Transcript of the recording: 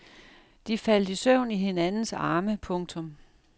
De faldt i søvn i hinandens arme. punktum